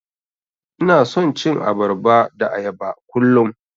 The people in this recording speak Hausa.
Ina son cin abarba da ayaba kullum.